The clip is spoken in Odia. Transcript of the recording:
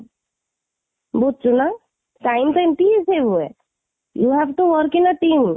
ବୁଝୁଛୁ ନା, time ସେମିତି ହୁଏ, you have to working in a team